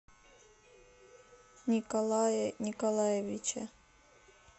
николае николаевиче